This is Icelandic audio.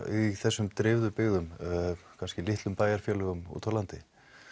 í þessum dreifðu byggðum kannski litlum bæjarfélögum úti á landi